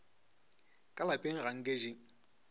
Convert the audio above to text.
ka lapeng ga nke di